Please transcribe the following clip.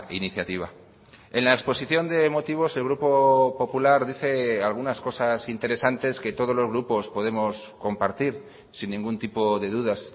iniciativa en la exposición de motivos el grupo popular dice algunas cosas interesantes que todos los grupos podemos compartir sin ningún tipo de dudas